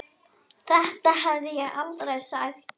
Þetta hefði ég aldrei sagt.